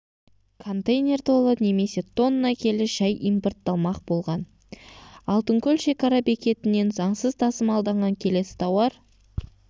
контейнер толы немесе тонна келі шәй импортталмақ болған алтынкөл шекара бекетінен заңсыз тасымалданған келесі тауар